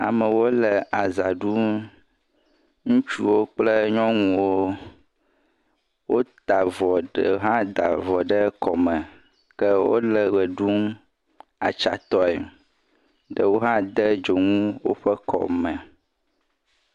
Amewo le azã ɖum. Ŋutsuwo kple nyɔnuwo wotaa avɔ, ɖewo hã da avɔ ɖe kɔme ke wole ʋe ɖum atsãtɔe. Eɖewo hã de dzonu woƒe kɔme.